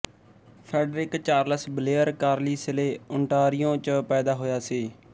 Friedrich Charles Blair Carlisle Ontario ਚ ਪੈਦਾ ਹੋਇਆ ਸੀ